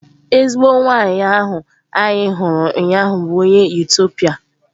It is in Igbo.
Ezigbo nwanyị ahụ anyị hụrụ ụnyaahụ bụ onye Etiopia